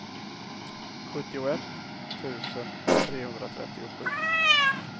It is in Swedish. sjuttioett tusen trehundratrettiosju